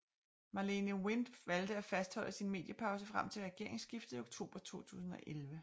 Marlene Wind valgte at fastholde sin mediepause frem til regeringsskiftet i oktober 2011